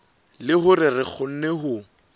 le hore re kgone ho